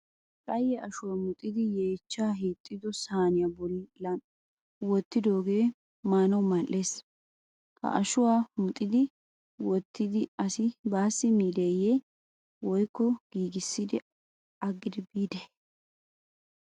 qayye ashuwa muxxidi yeechchaa hiixido saaniya bollan wottidooge maanaw mal''ees. ha ashuwa muxxidi wottidi asi baassi miideye woykko giigissi agidi biigidee?